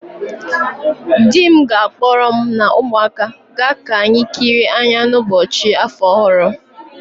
Di m ga-akpọrọ mu na umuaka ga ka anyi kịrịe anya n'ụbọchị afọ ọhụrụ